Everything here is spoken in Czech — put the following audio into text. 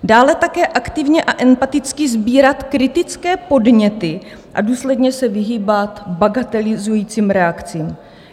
Dále také aktivně a empaticky sbírat kritické podněty a důsledně se vyhýbat bagatelizujícím reakcím."